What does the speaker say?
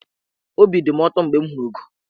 Obi dị mụ ụtọ mgbe m hụrụ ụgọ.